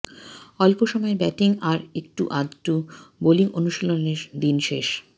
অল্প সময়ের ব্যাটিং আর একটু আধটু বোলিং অনুশীলনের দিন শেষ